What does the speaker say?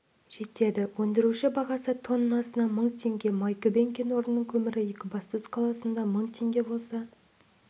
жетеді өндіруші бағасы тоннасына мың теңге майкүбен кен орнының көмірі екібастұз қаласында мың теңге болса